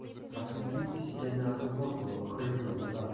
посмотри ты себе на футболку хрюкнул дурак